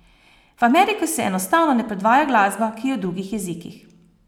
V Ameriki se enostavno ne predvaja glasba, ki je v drugih jezikih.